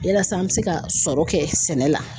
Yalasa an mi se ka sɔrɔ kɛ sɛnɛ la